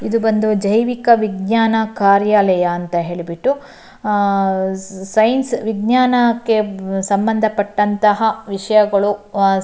ಇದು ಬಂದು ಜೈವಿಕ ವಿಜ್ಞಾನ ಕಾರ್ಯಾಲಯ ಅಂತ ಹೇಳ್ಬಿಟ್ಟು ಸೈನ್ಸ್ ವಿಜ್ಞಾನ ಕ್ಕೆ ಸಂಬಂಧಪತ್ತಂತಹ ವಿಷಯಗಳು --